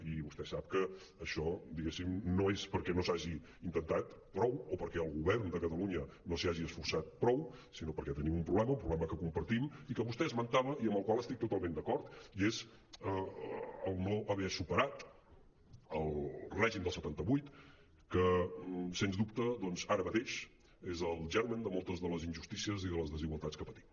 i vostè sap que això diguéssim no és perquè no s’hagi intentat prou o perquè el govern de catalunya no s’hi hagi esforçat prou sinó perquè tenim un problema un problema que compartim i que vostè esmentava i amb el qual estic totalment d’acord i és no haver superat el règim del setanta vuit que sens dubte doncs ara mateix és el germen de moltes de les injustícies i de les desigualtats que patim